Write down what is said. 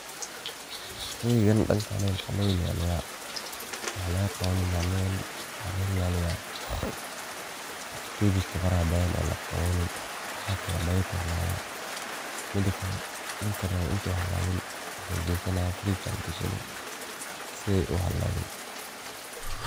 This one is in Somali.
Sheygan dankani maxa lo ilaliyah maxa laqa qabani nyanyadan mxa laga ilaliya totujiska farsaha badhan oo laqaqani sidhas ayay badhi kuhalabta midi kale ninki rabo intay halabin muxu gesana frech aya lagashani siday uhalabin.